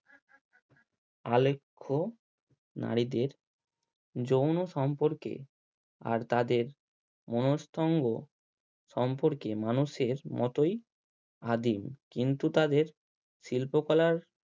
আলেখ্য নারীদের যৌন সম্পর্কে আর তাদের সম্পর্কে মানুষের মতোই আদিম কিন্তু তাদের শিল্প কলার